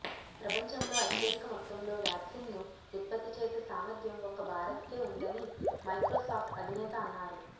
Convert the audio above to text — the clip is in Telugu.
ప్రపంచంలో అత్యధిక మొత్తంలో వ్యాక్సిన్ ను ఉత్పత్తి చేసే సామర్ధ్యం ఒక్క భారత్ కే ఉందని మైక్రోసాఫ్ట్ అధినేత అన్నారు